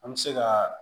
An bɛ se ka